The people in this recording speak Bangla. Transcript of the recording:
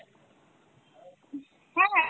হ্যাঁ হ্যাঁ।